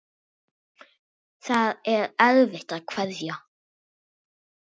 Það er erfitt að kveðja.